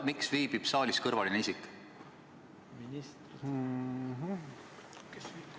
Miks viibib saalis kõrvaline isik?